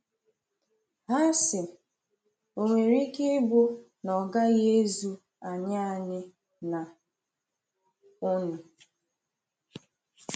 Ha sị: Ò nwere ike ịbụ na ọ gaghị ezu anyị anyị na unu.